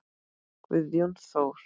Guðjón Þór.